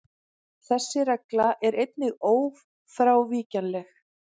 Þessi regla er einnig ófrávíkjanleg.